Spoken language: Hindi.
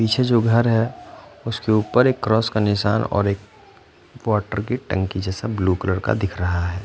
पीछे जो घर है उसके ऊपर एक क्रॉस का निशान और एक वाटर की टंकी जेसा ब्लू कलर का दिख रहा है।